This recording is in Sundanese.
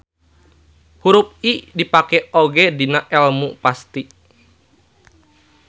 Hurup I dipake oge dina elmu pasti.